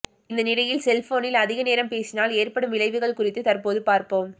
இந்த நிலையில் செல்போனில் அதிக நேரம் பேசினால் ஏற்படும் விளைவுகள் குறித்து தற்போது பார்ப்போம்